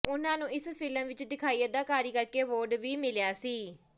ਉਹਨਾਂ ਨੂੰ ਇਸ ਫ਼ਿਲਮ ਵਿੱਚ ਦਿਖਾਈ ਅਦਾਕਾਰੀ ਕਰਕੇ ਅਵਾਰਡ ਵੀ ਮਿਲਿਆ ਸੀ